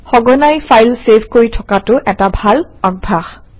সঘনাই file save কৰি থকাটো এটা ভাল অভ্যাস